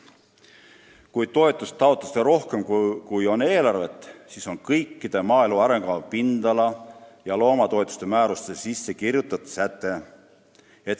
Kui toetuste taotlusi on rohkem kui eelarves raha, siis vähendatakse toetuse ühikumäärasid – see on kõikide maaelu arengukava pindala- ja loomatoetuste määrustesse sisse kirjutatud säte.